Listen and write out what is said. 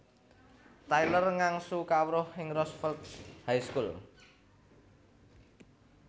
Tyler ngangsu kawruh ing Roosevelt High School